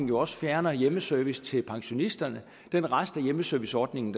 jo også fjerner hjemmeservice til pensionisterne den rest af hjemmeserviceordningen